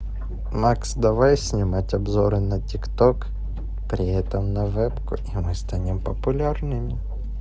макс давай снимать обзоры на тик ток при этом на вебку и мы станем популярными